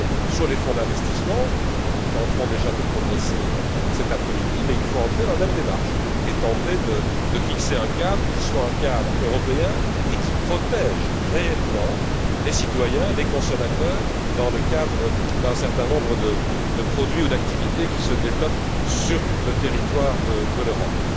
Sur les fonds d'investissement nous tenterons déjà de progresser cet après midi il faut entrer dans la même démarche et tenter de fixer un cadre qui soit un cadre européen et qui protège réellement les citoyens et les consommateurs dans le cadre d'un certain nombre de produits ou d'activités qui se développent sur le territoire de l'Europe.